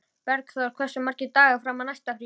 Bergþór, hversu margir dagar fram að næsta fríi?